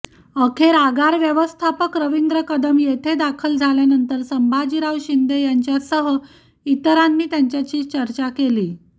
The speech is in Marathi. अखेर आगार व्यवस्थापक रविंद्र कदम येथे दाखल झाल्यानंतर संभाजीराव शिंदे यांच्यासह इतरांनी त्यांच्याशी चर्चा केली